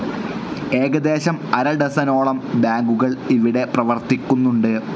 ഏകദേശം അരഡസനോളം ബാങ്കുകൾ ഇവിടെ പ്രവർത്തിക്കുന്നുണ്ട്.